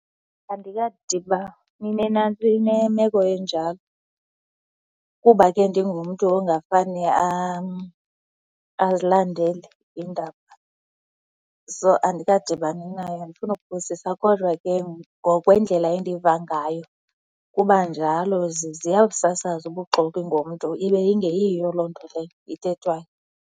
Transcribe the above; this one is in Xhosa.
Andikadibani nemeko enjalo kuba ke ndingumntu ongafane azilandele iindaba. So, andikadibani nayo andifuni kuphosisa. Kodwa ke ngokwendlela endiva ngayo kuba njalo. Ziya kusasaza ubuxoki ngomntu ibe ingeyiyo loo nto leyo ithethwayo.